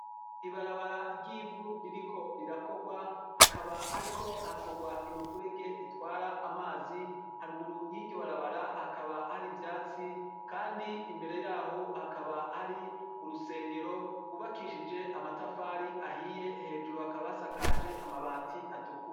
Ibarabara ryivu ririko rirakorwa hakaba hariko hakorwa imifurege itwara amazi haruguru yiryo barabara hakaba hari ivyatsi kandi imbere yaho hakaba hari urusengero rwubakishije amatafari ahiye hejuru hakaba hasakaje amabati atukura